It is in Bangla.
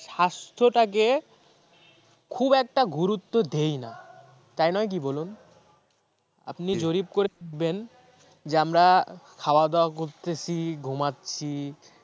স্বাস্থ্যটাকে খুব একটা গুরুত্ব দেই না, তাই নয় কি বলুন? আপনি জরীপ করে দেখবেন যে আমরা খাওয়া দাওয়া করতেছি ঘুমাচ্ছি